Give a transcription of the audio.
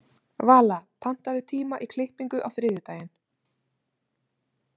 Vala, pantaðu tíma í klippingu á þriðjudaginn.